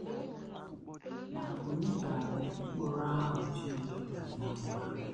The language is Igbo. Ma ònye ga - abụ Mkpụrụ ahụ Chineke kwere ná nkwa?